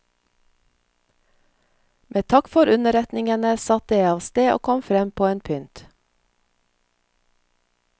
Med takk for underretningene satte jeg av sted og kom frem på en pynt.